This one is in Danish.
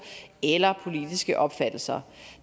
eller politiske opfattelser